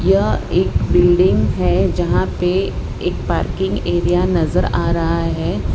यह एक बिल्डिंग है जहां पे एक पार्किंग एरिया नजर आ रहा है --